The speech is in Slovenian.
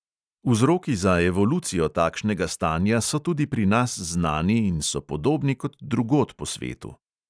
Vzroki za evolucijo takšnega stanja so tudi pri nas znani in so podobni kot drugod po svetu.